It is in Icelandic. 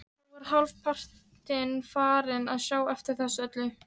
Nú er ég hálfpartinn farinn að sjá eftir þessu öllu.